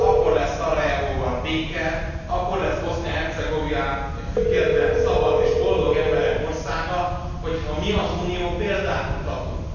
Akkor lesz Szarajevóban béke, akkor lesz Bosznia Hercegovina független, szabad és boldog emberek országa, hogy ha mi, az Unió példát mutatunk.